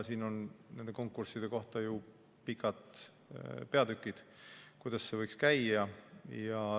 Siin on nende konkursside kohta pikad peatükid, kuidas see võiks käia.